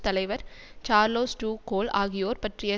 தலைவர் Charles de Gaulle ஆகியோர் பற்றிய